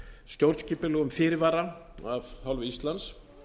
stjórnskipulegum fyrirvara af hálfu íslands